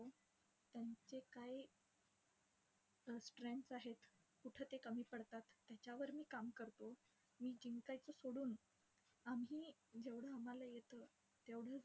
आमच्या ना गावात रात्री सात नंतर हैना दरवाजे, दुकाने, घरे सगळे बंद होऊन जातात.